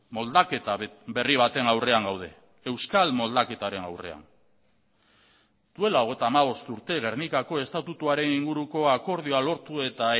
moldaketa berri baten aurrean gaude euskal moldaketaren aurrean duela hogeita hamabost urte gernikako estatutuaren inguruko akordioa lortu eta